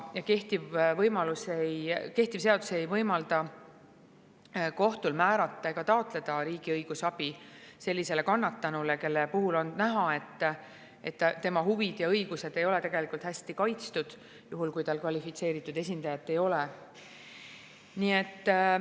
Kehtiv seadus aga ei võimalda kohtul määrata ega taotleda riigi õigusabi sellisele kannatanule, kelle puhul on näha, et tema huvid ja õigused ei ole tegelikult hästi kaitstud, kui tal kvalifitseeritud esindajat ei ole.